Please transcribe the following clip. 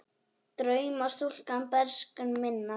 Drauma stúlka bernsku minnar.